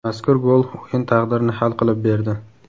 Mazkur gol o‘yin taqdirini hal qilib berdi.